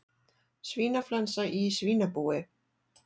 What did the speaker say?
Svínaflensa í svínabúi